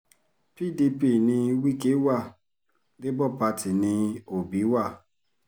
pdp ni wike wa labour party ní òbí wa